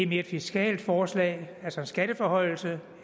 mere et fiskalt forslag altså en skatteforhøjelse